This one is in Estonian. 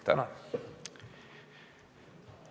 Tänan!